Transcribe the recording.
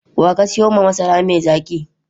Wa ka siyo ma masara mai zaki?